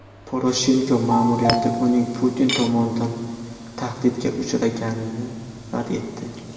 Poroshenko ma’muriyati uning Putin tomonidan tahdidga uchraganini rad etdi.